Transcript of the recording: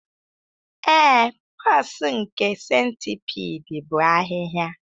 Ee, pores nke centipede bụ ahịhịa